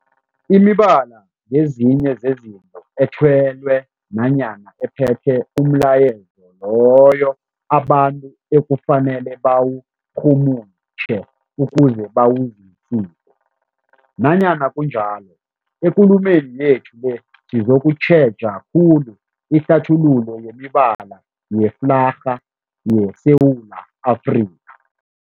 Imibala ngezinye zezinto ethelwe nanyana ephethe umlayezo loyo abantu ekufanele bawurhumutjhe ukuze bawuzwisise. Nanyana kunjalo, ekulumeni yethu le sizokutjheja khulu ihlathululo yemibala yeflarha yeSewula Afrika.